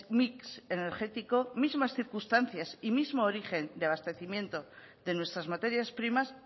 mix energético mismas circunstancias y mismo origen de abastecimiento de nuestras materias primas